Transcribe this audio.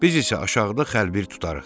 Biz isə aşağıda xəlbir tutarıq.